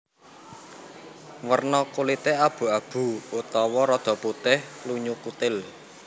Werna kulité abu abu utawa rada putih lunyu kutil